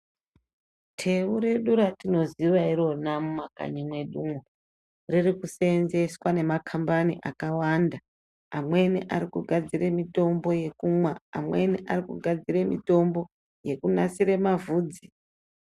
Thewu redu ratinoziva irona mumakanyi mwedumwo ,riri kuseenzeeswa nemakhambani akawanda, amweni ari kugadzire mitombo yekumwa, amweni ari kugadzire mitombo yekunasire mavhudzi .